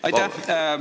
Aitäh!